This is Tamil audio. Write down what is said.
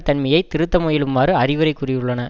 தன்மையை திருத்த முயலுமாறு அறிவுரை கூறியுள்ளன